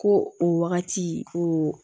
Ko o wagati ko